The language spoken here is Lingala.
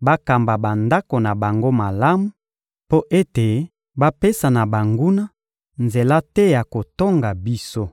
bakamba bandako na bango malamu, mpo ete bapesa na banguna nzela te ya kotonga biso.